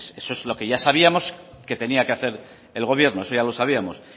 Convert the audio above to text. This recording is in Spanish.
vale eso es lo que ya sabíamos que tenía que hacer el gobierno eso ya lo sabíamos